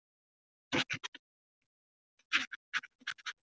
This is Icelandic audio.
Freygarður, hvernig er veðrið á morgun?